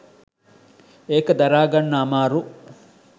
ඒක දරා ගන්න අමාරු